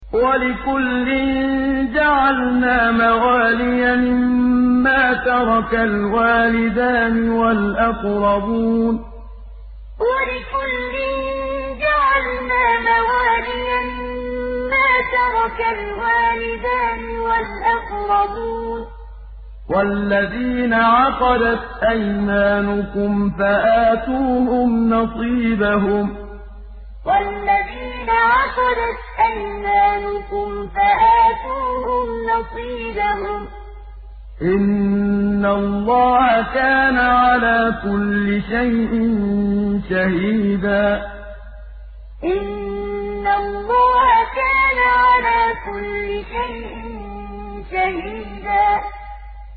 وَلِكُلٍّ جَعَلْنَا مَوَالِيَ مِمَّا تَرَكَ الْوَالِدَانِ وَالْأَقْرَبُونَ ۚ وَالَّذِينَ عَقَدَتْ أَيْمَانُكُمْ فَآتُوهُمْ نَصِيبَهُمْ ۚ إِنَّ اللَّهَ كَانَ عَلَىٰ كُلِّ شَيْءٍ شَهِيدًا وَلِكُلٍّ جَعَلْنَا مَوَالِيَ مِمَّا تَرَكَ الْوَالِدَانِ وَالْأَقْرَبُونَ ۚ وَالَّذِينَ عَقَدَتْ أَيْمَانُكُمْ فَآتُوهُمْ نَصِيبَهُمْ ۚ إِنَّ اللَّهَ كَانَ عَلَىٰ كُلِّ شَيْءٍ شَهِيدًا